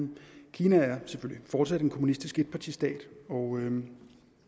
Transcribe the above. kina er selvfølgelig fortsat en kommunistisk etpartistat og